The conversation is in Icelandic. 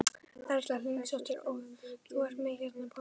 Erla Hlynsdóttir: Og þú ert með hérna banana líka?